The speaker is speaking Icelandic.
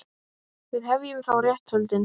Við hefjum þá réttarhöldin.